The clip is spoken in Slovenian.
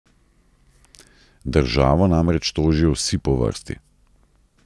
Državo namreč tožijo vsi po vrsti.